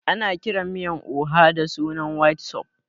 Ana kiran miyan oha da sunan white soup